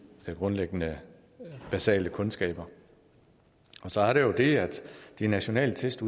grundlæggende basale kundskaber og så er der jo det at de nationale test